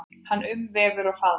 Hann umvefur og faðmar.